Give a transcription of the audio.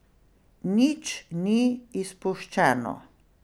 Nič ni izpuščeno.